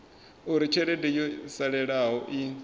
uri tshelede yo salelaho i